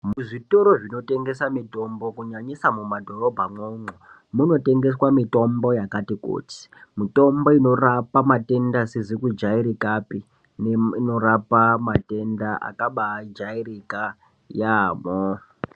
Muzvitoro zvinotengesa mitombo kunyanyisa mumadhorobha mwo umwo, muno tengeswa mitombo yakati kuti , mitombo inorapa matenda asizi kujairikapi ,neinorapa matenda akabaa jairika yaamho.